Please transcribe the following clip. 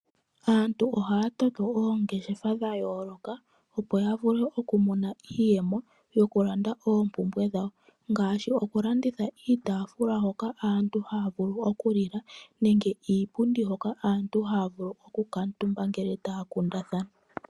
Aantu ohaya toto oongeshefa dhayooloka, opo ya vule okumona iiyemo, yokulanda oompumbwe dhawo. Ngaashi okulanditha iitaafula hoka aantu haya vulu okulila, nenge iipundi hoka aantu haya vulu okukuuntumba ngele taya kundathana.